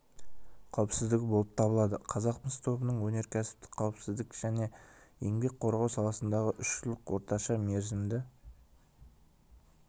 қауіпсіздігі болып табылады қазақмыс тобының өнеркәсіптік қауіпсіздік және еңбек қорғау саласындағы үш жылдық орташа мерзімді